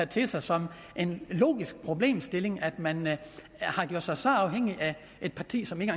til sig som en logisk problemstilling at man har gjort sig så afhængig af et parti som ikke